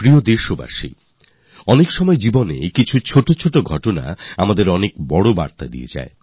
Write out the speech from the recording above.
আমার প্রিয় দেশবাসী কখনও কখনও জীবনে ছোট ছোট বিষয়ও আমাদের অনেক বড় বড় বার্তা দেয়